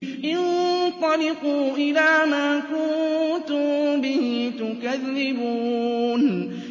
انطَلِقُوا إِلَىٰ مَا كُنتُم بِهِ تُكَذِّبُونَ